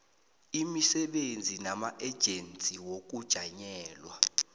imisebenzi namaejensi wokujanyelwa